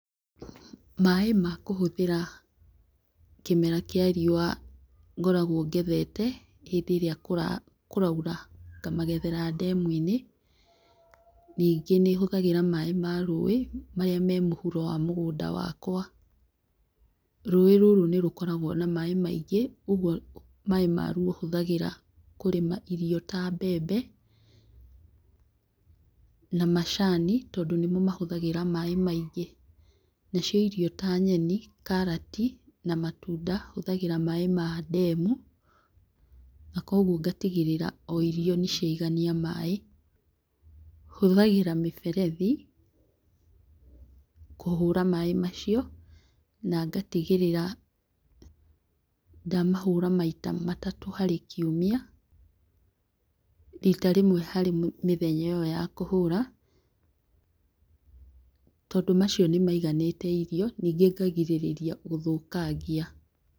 Maĩ ma kũhũthĩra kĩmera kĩa riũa ngoragwo ngethete hĩndĩ ĩrĩa kũraura ngamagethera ndemu-inĩ. Ningĩ nĩhũthagĩra maĩ ma rũĩ marĩa me mũhuro wa mũgũnda wakwa. Rũĩ rũrũ nĩrũkoragwo na maĩ maingĩ ũguo maĩ maruo hũthagĩra kũrĩma irio ta mbembe na macani tondũ nĩmo mahũthagĩra maĩ maingĩ. Nacio irio ta nyeni, karati na matunda hũthagĩra maĩ ma ndemu, na koguo ngatigĩrĩra o irio nĩciaigania maĩ . Hũthagĩra mĩberethi kũhũra maĩ macio, na ngatigĩrĩra ndamahũra maita matatũ harĩ kiumia, rita rĩmwe harĩ mĩthenya ĩyo ya kũhũra, tondũ macio nĩmaiganĩte irio ningĩ ngagirĩrĩria gũthũkangia.